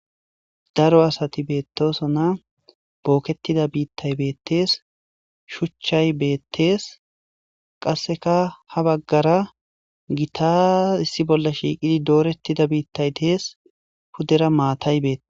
daro asati beettoso na bookettida biittay beettees shuchchay beettees qasseka ha baggara gitas issi bolla shiiqidi doorettida biittay dees hudera maatay beete